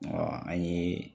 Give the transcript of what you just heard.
an ɲe